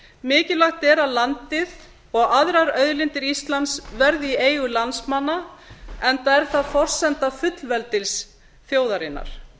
mikilvægt er að landið og aðrar auðlindir íslands verði í eigu landsmanna enda er það forsenda fullveldis þjóðarinnar